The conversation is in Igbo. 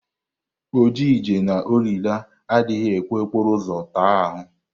Ọjịje na ọlịla adịghị ekwe okporo ụzọ taa ahụ.